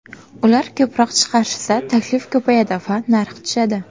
Ular ko‘proq chiqarishsa, taklif ko‘payadi va narx tushadi.